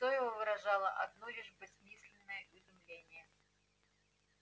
лицо его выражало одно лишь бессмысленное изумление